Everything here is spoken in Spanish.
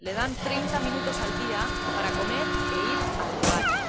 Le dan treinta minutos al día para comer e ir al baño.